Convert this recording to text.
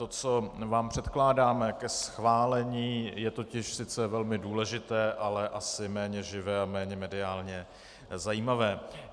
To, co vám předkládáme ke schválení, je totiž sice velmi důležité, ale asi méně živé a méně mediálně zajímavé.